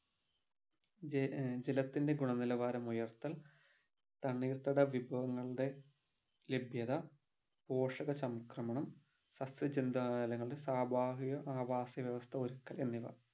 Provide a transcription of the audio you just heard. ഏർ ജല ജലത്തിൻ്റെ ഗുണ നിലവാരം ഉയർത്തൽ തണ്ണീർത്തട വിഭവങ്ങളുടെ ലഭ്യത പോഷക സംക്രമണം സസ്യജന്താലങ്ങളുടെ സ്വാഭാവിക ആവാസ വ്യവസ്ഥ ഒരുക്കൽ എന്നിവ